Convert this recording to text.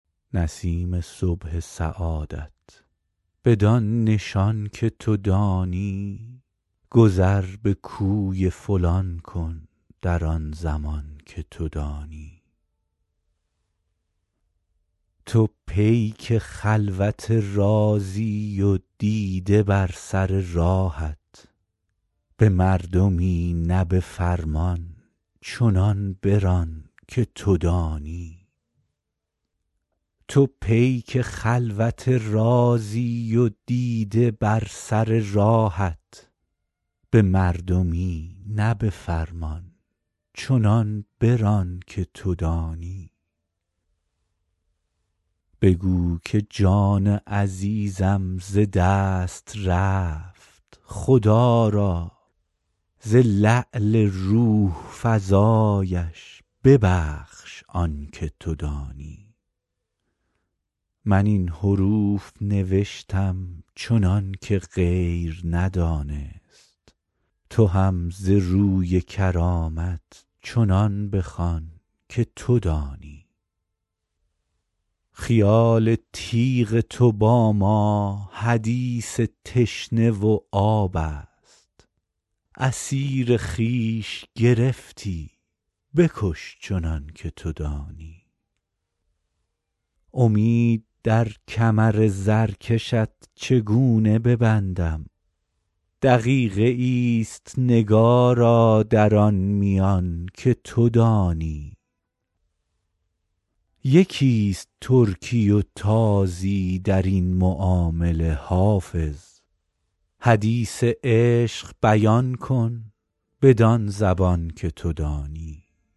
نسیم صبح سعادت بدان نشان که تو دانی گذر به کوی فلان کن در آن زمان که تو دانی تو پیک خلوت رازی و دیده بر سر راهت به مردمی نه به فرمان چنان بران که تو دانی بگو که جان عزیزم ز دست رفت خدا را ز لعل روح فزایش ببخش آن که تو دانی من این حروف نوشتم چنان که غیر ندانست تو هم ز روی کرامت چنان بخوان که تو دانی خیال تیغ تو با ما حدیث تشنه و آب است اسیر خویش گرفتی بکش چنان که تو دانی امید در کمر زرکشت چگونه ببندم دقیقه ای است نگارا در آن میان که تو دانی یکی است ترکی و تازی در این معامله حافظ حدیث عشق بیان کن بدان زبان که تو دانی